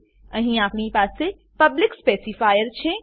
અહીં આપણી પાસે પબ્લિક સ્પેસિફાયર પબ્લિક સ્પેસીફાયર છે